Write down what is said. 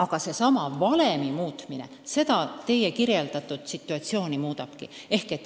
Asjaomase valemi muutmine seda teie kirjeldatud situatsiooni muudabki.